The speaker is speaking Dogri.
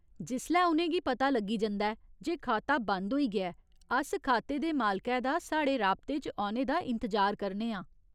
जिसलै उ'नें गी पता लग्गी जंदा ऐ जे खाता बंद होई गेआ ऐ, अस खाते दे मालकै दा साढ़े राबते च औने दा इंतजार करने आं ।